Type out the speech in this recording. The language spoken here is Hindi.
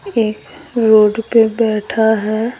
एक रोड पे बैठा है।